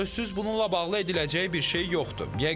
Sözsüz bununla bağlı ediləcəyi bir şey yoxdur.